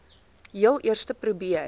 heel eerste probeer